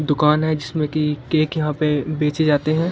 दुकान है जिसमें की केक यहां पे बेचे जाते हैं।